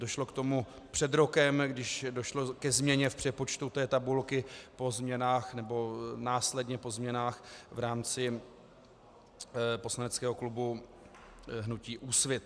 Došlo k tomu před rokem, když došlo ke změně v přepočtu té tabulky po změnách nebo následně po změnách v rámci poslaneckého klubu hnutí Úsvit.